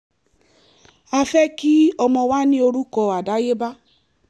a fẹ́ kí ọmọ wa ní orúkọ àdáyébá